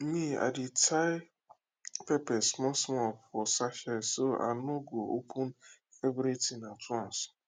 me i dey tie pepper small small for sachet so i no go open everything at once